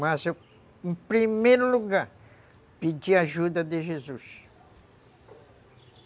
Mas eu, em primeiro lugar, pedia ajuda de Jesus.